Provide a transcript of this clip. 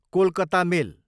Kolkata मेल